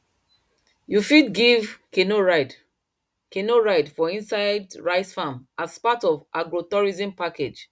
you fit give canoe ride canoe ride for inside rice farm as part of agrotourism package